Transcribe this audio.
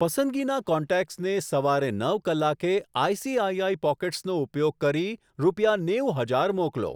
પસંદગીના કોન્ટેક્ટસને સવારે નવ કલાકે આઈસીઆઈઆઈ પોકેટ્સ નો ઉપયોગ કરી રૂપિયા નેવું હજાર મોકલો.